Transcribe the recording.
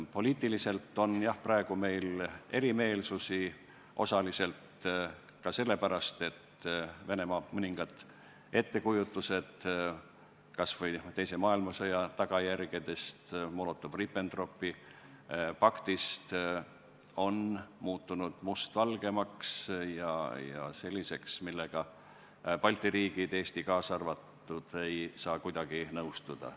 Poliitiliselt on jah meil praegu erimeelsusi, osaliselt ka sellepärast, et mõningad Venemaa ettekujutused – kas või teise maailmasõja tagajärgedest, Molotovi-Ribbentropi paktist – on muutunud mustvalgemaks ja selliseks, millega Balti riigid, Eesti kaasa arvatud, ei saa kuidagi nõustuda.